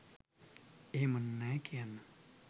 එහෙම නෑ කියන්න